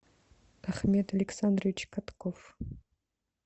ахмед александрович катков